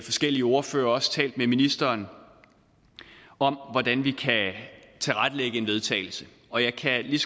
forskellige ordførere og også talt med ministeren om hvordan vi kan tilrettelægge et vedtagelse og jeg kan lige